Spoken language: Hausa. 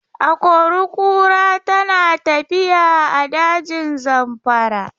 Akori-kura tana tafiya a dajin Zamfara.